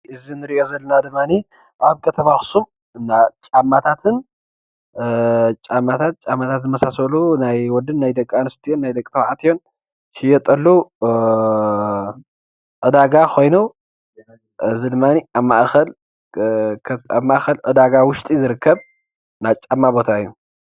እዚ ንሪኦ ዘለና ድማኒ ኣብ ከተማ ኣኽሱም ናጫማታትን ዝመሳሰሉን ናይ ወድን ናይ ደቂ ኣንስትዮን ናይ ደቂ ተባዕትዮን ዝሽየጠሉ ዕዳጋ ኮይኑ እዚ ድማኒ ኣብ ማእኸል ዕዳጋ ዉሽጢ ዝርከብ ናይ ጫማ ቦታ እዩ፡፡